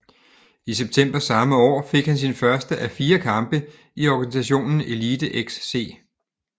I september samme år fik han sin første af 4 kampe i organisationen EliteXC